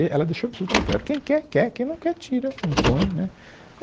E ela deixou absolutamente claro, quem quer, quer, quem não quer, tira, não põe né.